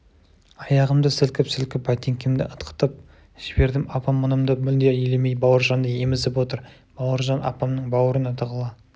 аяғымды сілкіп-сілкіп бәтеңкемді ытқытып жібердім апам мұнымды мүлде елемей бауыржанды емізіп отыр бауыржан апамның бауырына тығыла